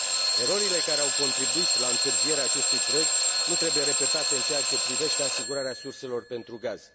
Erorile care au contribuit la întârzierea acestui proiect nu trebuie repetate în ceea ce privește asigurarea surselor pentru gaz.